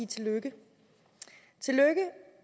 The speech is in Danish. tillykke